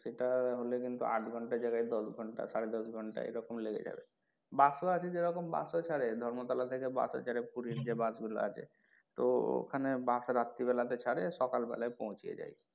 সেটা হলে কিন্তু আট ঘণ্টার জায়গায় দশ ঘণ্টা সাড়ে দশ ঘণ্টা এরকম লেগে যাবে bus ও আছে যেরকম bus ও ছাড়ে ধর্মতলা থেকে bus ও ছাড়ে পুরির যে bus গুলো আছে তো ওখানে bus রাত্রি বেলা তে ছাড়ে সব সকাল বেলায় পৌঁছিয়ে দেয়।